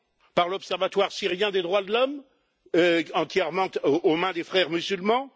Par l'Observatoire syrien des droits de l'homme, entièrement aux mains des Frères musulmans?